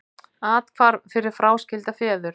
Athvarf fyrir fráskilda feður